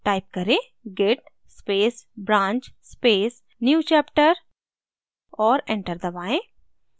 type करें: git space branch space newchapter और enter दबाएँ